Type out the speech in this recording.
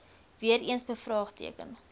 weer eens bevraagteken